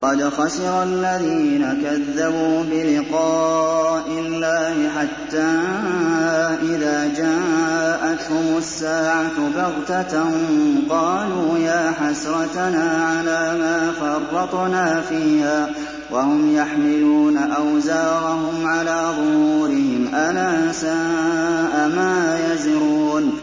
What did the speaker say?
قَدْ خَسِرَ الَّذِينَ كَذَّبُوا بِلِقَاءِ اللَّهِ ۖ حَتَّىٰ إِذَا جَاءَتْهُمُ السَّاعَةُ بَغْتَةً قَالُوا يَا حَسْرَتَنَا عَلَىٰ مَا فَرَّطْنَا فِيهَا وَهُمْ يَحْمِلُونَ أَوْزَارَهُمْ عَلَىٰ ظُهُورِهِمْ ۚ أَلَا سَاءَ مَا يَزِرُونَ